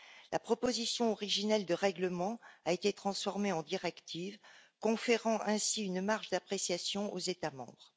La proposition originelle de règlement a été transformée en directive, conférant ainsi une marge d'appréciation aux États membres.